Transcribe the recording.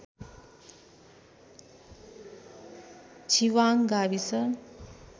छिवाङ्ग गाविस